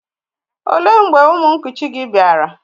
Ó lee mgbe ụmụ nkuchi gị bịara?